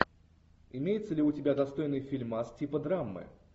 имеется ли у тебя достойный фильмас типа драмы